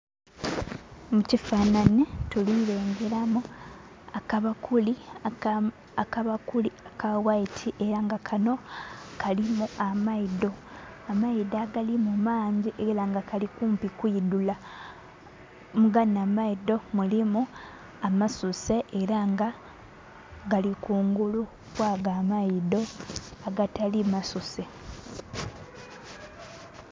Mu kifananhi tuli lengeramu akabakuli aka waiti era nga kanho kalimu amaidho, amaidho agalimu mangi era nga Kali kumpi kwidhula. Muganho amaidho mulimu amasuse era nga gali kungulu kwago amaidho agatali masuse.